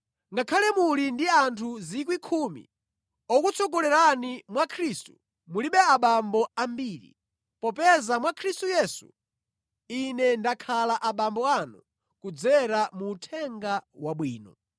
Ngakhale muli ndi anthu 10,000 okutsogolerani mwa Khristu, mulibe abambo ambiri, popeza mwa Khristu Yesu, ine ndakhala abambo anu kudzera mu Uthenga Wabwino.